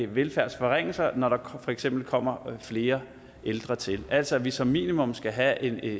velfærdsforringelser når der for eksempel kommer flere ældre til altså at vi som minimum skal have en